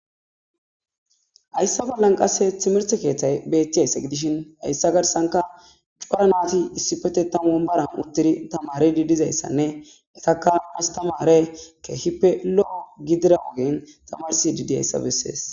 Hayssa flalan qasse timirte keeththay betiyaysa gidishin hayssa garsanka cura naati issipetettam ombaran uttidi tamare didizayssanne etakka astamare keehippe lo7o gidira ogen tamarsi didi hayssa bessees.